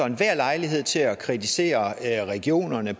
enhver lejlighed til at kritisere regionerne